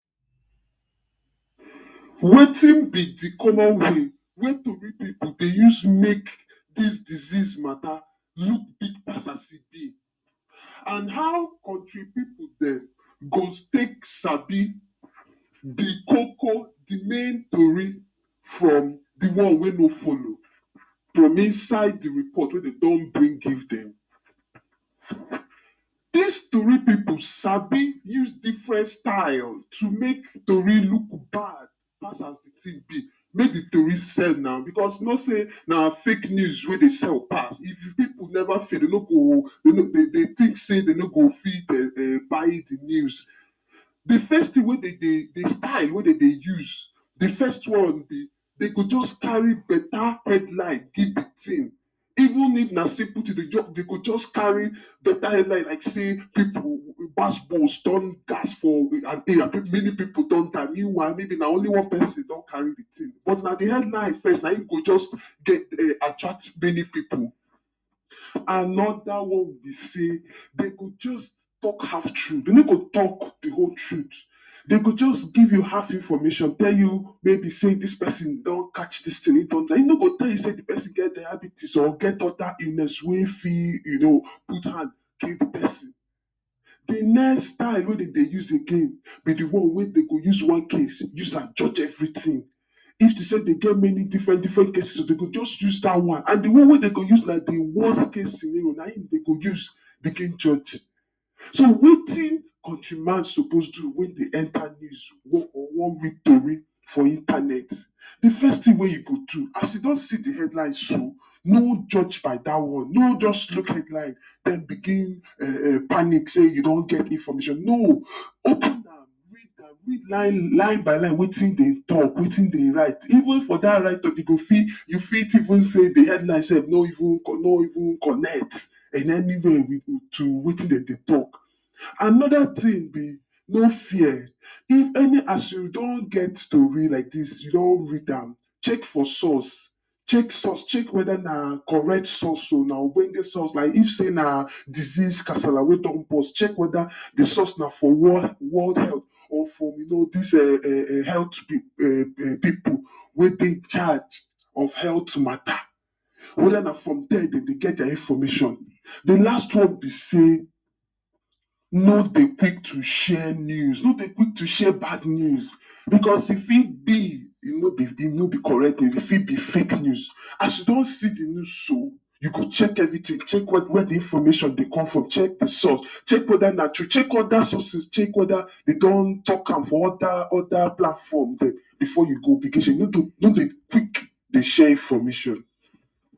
Wetin be di common way wey?? go dey use make dis disease matta look big pass as e bi and how kontri pipo dem go take sabi di koko di main tori from di one wey no follow from inside di report wey dem don brin give dem dis tori pipo sabi use different style to make tori look bad pass as di tin be may di tori sell na, because you know say na fake news wey dey sell pass, if pipo never fear dem no go dey think say dey no go fit buy di news Dis first tin wey dem dey di style wey dem dey use di first one wey dey go just carry betta headline give di tin even is na simple tin dem go just carry betta headline and say pipo go gbas gbos don, gas for, many pipo don die meanwhile maybe na only one pesin don carry but na di headline firdt na im go just take attract many pipo. Anoda one, be say dem go just tok half true dem no go tok di whole truth dem go just give you half information tell you maybe say dis person don catch dis tin im don die im no go tell you say di person get diabetes or get oda illness wey fit, you know put hand kill di person Di next style wey dem dey use again na di one wey dem go use one case use am judge everytin if to say dem get many dffrent diffrent cases dem go just use dat one, and di one wey dem go use na di worst case scenerio na im dem go use begin judge So, wetin kontri man supposed do wen e enter one weak tori. for intanet Di first tin wey you go do as you don see di headline so no judge by dat one no just look headline den begin panic say you don get information, no, open read am read line by line wetin dem tok, wetin dem write even for dat write up you go fit you fit even say di headline sef no even, no even connect in any way to wetin dem dey tok. anoda tin be no fear if any as you don get tori like dis you don read am, check for source check source, check weda na correct source o na, na ogbonge source, na if say na disease kasala wey don burst check weda di source na for world or for you know, dis health bill, pipo wey dey in charge of health matta or weda na from dia dem dey get dia information Di last one be say, no dey quick to share news, no dey quick to share bad news bicos e fit be e no bi, e no bi correct news, e fit be fake news as you don see di news so, you go check evritin check wia di information dey come from, check di source check weda na, to check oda sources check weda dem don talk am for oda oda platforms dem bifor you go begin share no dey, no dey quick dey share information